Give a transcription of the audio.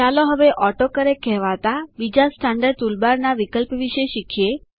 ચાલો હવે ઓટોકરેક્ટ કહેવાતા બીજા સ્ટેન્ડર્ડ ટુલબાર ના વિકલ્પ વિષે શીખીએ